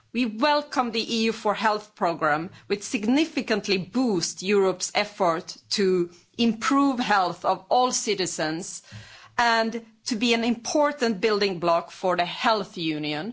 We welcome the EU4Health programme which significantly boosts Europe's effort to improve the health of all citizens, and to be an important building block for the Health Union.